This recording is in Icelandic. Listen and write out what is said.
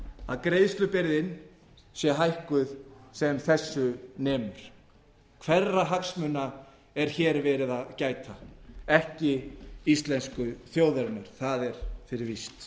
að greiðslubyrðin sé hækkuð sem þessu nemur hverra hagsmuna er hér verið að gæta ekki íslensku þjóðarinnar það er fyrir víst